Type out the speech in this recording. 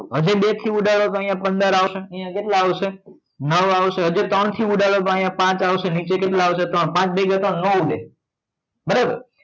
હવે બેથી ઉડાડો તો પંદર આવશે અહીંયા કેટલા આવશે નવ આવશે હજુ ત્રણથી ઉડાવ્યો ઉડાડો તો પાંચ આવશે નીચે કેટલા આવશે? પાંચ ભાગ્યા ત્રણ ન ઉડે બરાબર